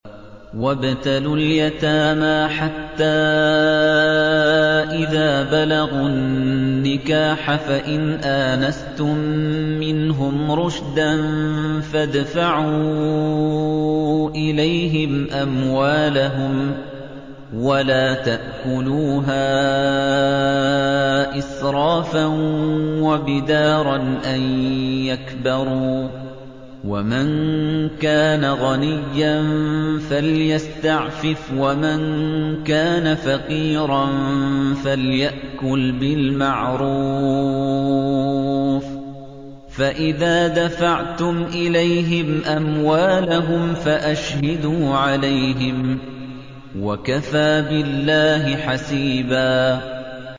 وَابْتَلُوا الْيَتَامَىٰ حَتَّىٰ إِذَا بَلَغُوا النِّكَاحَ فَإِنْ آنَسْتُم مِّنْهُمْ رُشْدًا فَادْفَعُوا إِلَيْهِمْ أَمْوَالَهُمْ ۖ وَلَا تَأْكُلُوهَا إِسْرَافًا وَبِدَارًا أَن يَكْبَرُوا ۚ وَمَن كَانَ غَنِيًّا فَلْيَسْتَعْفِفْ ۖ وَمَن كَانَ فَقِيرًا فَلْيَأْكُلْ بِالْمَعْرُوفِ ۚ فَإِذَا دَفَعْتُمْ إِلَيْهِمْ أَمْوَالَهُمْ فَأَشْهِدُوا عَلَيْهِمْ ۚ وَكَفَىٰ بِاللَّهِ حَسِيبًا